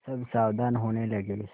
सब सावधान होने लगे